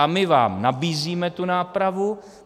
A my vám nabízíme tu nápravu.